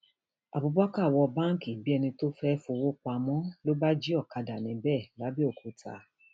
abubakar wọ báǹkì bíi ẹni tó fẹẹ fọwọ pamọ ló bá jí òkàdá níbẹ làbẹòkúta